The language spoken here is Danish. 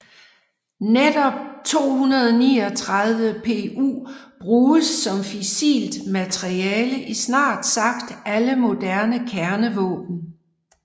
Netop 239Pu bruges som fissilt materiale i snart sagt alle moderne kernevåben